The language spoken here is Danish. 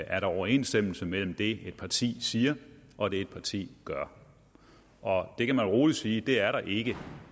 er overensstemmelse mellem det et parti siger og det et parti gør og det kan man roligt sige der der ikke